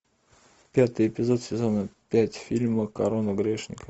пятый эпизод сезона пять фильма корона грешника